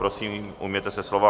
Prosím, ujměte se slova.